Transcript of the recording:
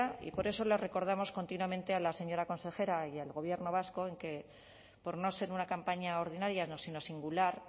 y por eso les recordamos continuamente a la señora consejera y al gobierno vasco que por no ser una campaña ordinaria sino singular